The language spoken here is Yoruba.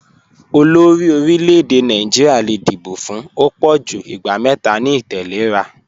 Ọlọ́ọ̀run orílẹ̀-èdè Naijiria le díbọ̀ fún ọ̀ pọ̀jú ìgbà mẹta ni ìtẹ̀lẹ́ra